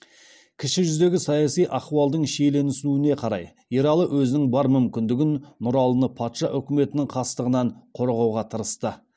кіші жүздегі саяси ахуалдың шиеленісуіне қарай ералы өзінің бар мүмкіндігін нұралыны патша үкіметінің қастығынан қорғауға тырысты